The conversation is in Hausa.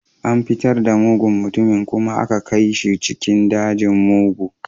An fitar da mugun mutumin kuma aka kai shi cikin dajin mugu